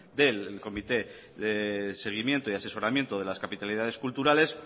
del comité de seguimiento y asesoramiento de las capitalidades culturales